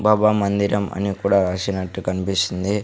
బాబా మందిరం అని కూడా రాసినట్టు కన్పిస్తుంది.